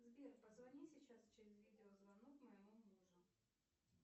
сбер позвони сейчас через видеозвонок моему мужу